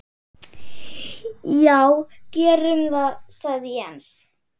Já gerum það sagði Jens.